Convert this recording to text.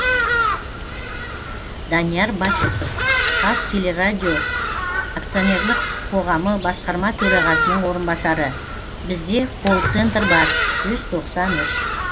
данияр бахитов қазтелерадио акционерлік қоғамы басқарма төрағасының орынбасары бізде колл центр бар жүз тоқсан үш